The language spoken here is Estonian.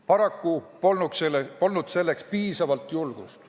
Paraku polnud selleks piisavalt julgust.